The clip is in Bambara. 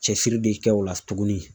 Cɛsiri de kɛ o la tuguni